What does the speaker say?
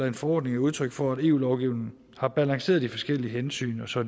en forordning er udtryk for at eu lovgivningen har balanceret de forskellige hensyn så